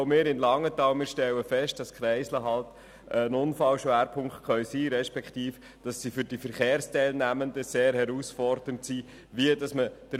Auch wir stellen fest, dass Kreisel Unfallschwerpunkte respektive für die Verkehrsteilnehmenden sehr herausfordernd sein können.